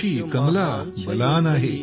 कोशी कमला बलान आहे